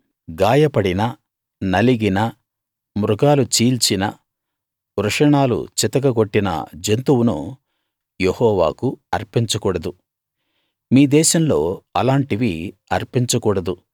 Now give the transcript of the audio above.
గాయపడిన నలిగిన మృగాలు చీల్చిన వృషణాలు చితక గొట్టిన జంతువును యెహోవాకు అర్పించకూడదు మీ దేశంలో అలాంటివి అర్పించకూడదు